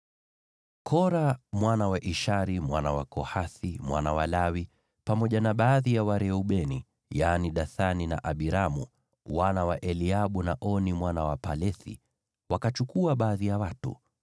Kora mwana wa Ishari, mwana wa Kohathi, mwana wa Lawi, pamoja na baadhi ya Wareubeni, yaani Dathani na Abiramu, wana wa Eliabu, na Oni mwana wa Pelethi, wakachukua baadhi ya watu,